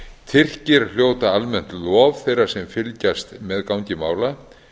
tyrkir hljóta almennt lof þeirra sem fylgjast með gangi mála